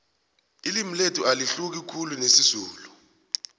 ililmi lethu alahluki khulu nesizulu